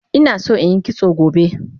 Inason inyi kitso gobe